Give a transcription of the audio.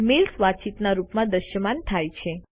mails વાતચીતના રૂપમાં દ્રશ્યમાન થાય છે